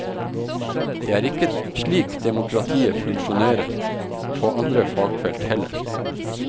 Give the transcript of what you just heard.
Det er ikke slik demokratiet funksjonerer på andre fagfelt heller.